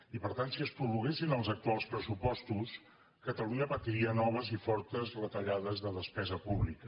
i per tant si es prorroguessin els actuals pressupostos catalunya patiria noves i fortes retallades de despesa pública